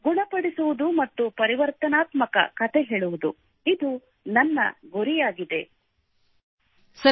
ಗುಣಪಡಿಸುವುದು ಮತ್ತು ಪರಿವರ್ತನಾತ್ಮಕ ಕತೆ ಹೇಳುವುದು Healing ಆಂಡ್ ಟ್ರಾನ್ಸ್ಫಾರ್ಮೆಟಿವ್ ಸ್ಟೋರಿಟೆಲಿಂಗ್ ಇದು ನನ್ನ ಗುರಿಯಾಗಿದೆ